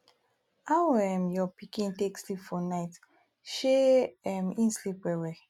how um your pikin take sleep for night shey um en sleep well well